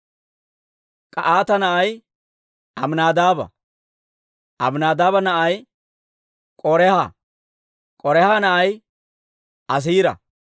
K'ahaata na'ay Aminaadaaba; Aminaadaaba na'ay K'oraaha; K'oraaha na'ay Asiira;